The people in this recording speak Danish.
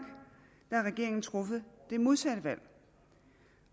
har regeringen truffet det modsatte valg